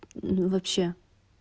ну вообще